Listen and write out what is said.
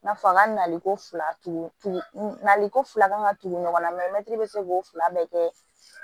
I n'a fɔ a ka naliko fila tugu tugu naliko fila kan ka tugu ɲɔgɔnna mɛtiri bɛ se ko fila bɛɛ kɛ